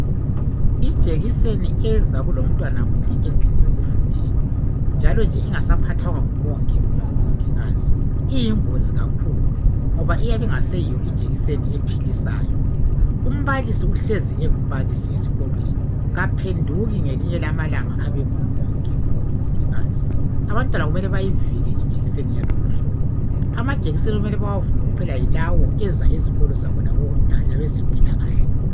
Ijekiseni eza kulomntwana munye endlini yokufundela njalo nje ingasaphathwanga ngumongi kumbe umongikazi iyingozi kakhulu ngoba iyabe ingaseyiyo ijekiseni ephilisayo. Umbalisi uhlezi engumbalisi esikolweni kaphenduki ngelinye lamalanga abe ngumongi kumbe umongikazi. Abantwana kumele bayivike ijekiseni yalolu hlobo. Amajekiseni okumele bawavume kuphela yilawo aza ezikolo zabo labezempilakahle.